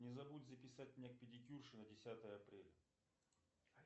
не забудь записать меня к педикюрше на десятое апреля